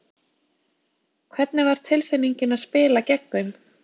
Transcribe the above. Hvernig var tilfinningin að spila gegn þeim?